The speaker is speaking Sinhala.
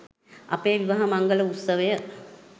අපේ විවාහ මංගල උත්සවය